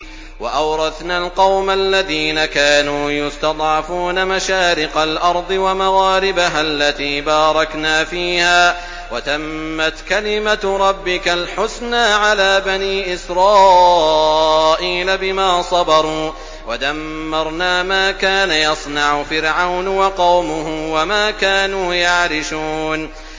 وَأَوْرَثْنَا الْقَوْمَ الَّذِينَ كَانُوا يُسْتَضْعَفُونَ مَشَارِقَ الْأَرْضِ وَمَغَارِبَهَا الَّتِي بَارَكْنَا فِيهَا ۖ وَتَمَّتْ كَلِمَتُ رَبِّكَ الْحُسْنَىٰ عَلَىٰ بَنِي إِسْرَائِيلَ بِمَا صَبَرُوا ۖ وَدَمَّرْنَا مَا كَانَ يَصْنَعُ فِرْعَوْنُ وَقَوْمُهُ وَمَا كَانُوا يَعْرِشُونَ